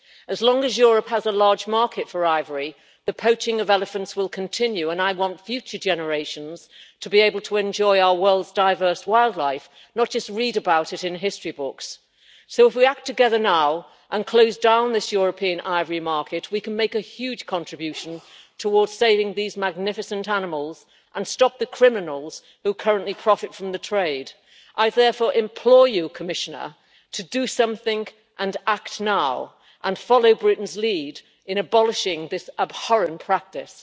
As long as Europe has a large market for ivory, the poaching of elephants will continue. I want future generations to be able to enjoy our world's diverse wildlife, not just read about it in history books. So if we act together now and close down this European ivory market, we can make a huge contribution towards saving these magnificent animals and stop the criminals who currently profit from the trade. I therefore implore you Commissioner, to do something and act now and follow Britain's lead in abolishing this abhorrent practice.